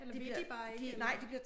Eller vil de bare ikke eller?